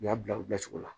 U y'a bila u bilacogo la